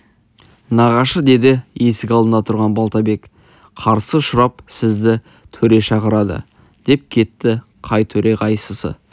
нағашы деді есік алдында тұрған балтабек қарсы ұшырап сізді төре шақырады деп кетті қай төре қайсысы